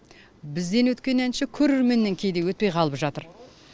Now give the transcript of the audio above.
бізден өткен әнші көрерменнен кейде өтпей қалып жатыр